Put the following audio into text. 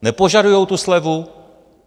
Nepožadují tu slevu?